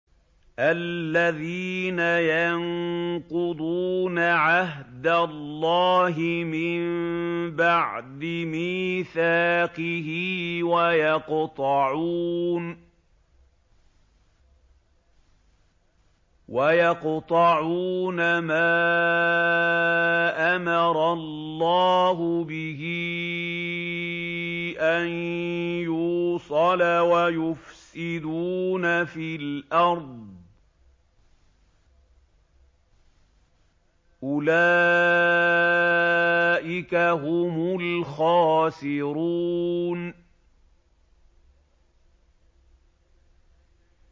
الَّذِينَ يَنقُضُونَ عَهْدَ اللَّهِ مِن بَعْدِ مِيثَاقِهِ وَيَقْطَعُونَ مَا أَمَرَ اللَّهُ بِهِ أَن يُوصَلَ وَيُفْسِدُونَ فِي الْأَرْضِ ۚ أُولَٰئِكَ هُمُ الْخَاسِرُونَ